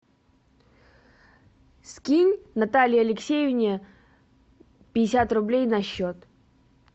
скинь наталье алексеевне пятьдесят рублей на счет